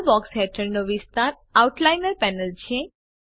લાલ box હેઠળનો વિસ્તાર outliner panel છે